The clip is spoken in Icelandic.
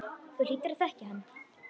Þú hlýtur að þekkja hann.